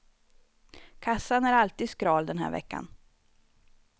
Kassan är alltid skral den här veckan.